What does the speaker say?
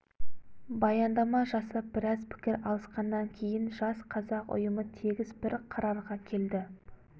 баяндама жасап біраз пікір алысқаннан кейін жас қазақ ұйымы тегіс бір қарарға келді